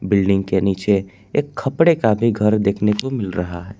Building के नीचे एक कपड़े का भी घर देखने को मिल रहा है।